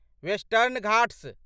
western Ghats